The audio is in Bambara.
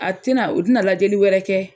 A tɛna u tɛna lajɛli wɛrɛ kɛ.